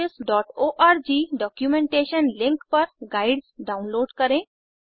libreofficeओआरजी documentation link पर guides download करें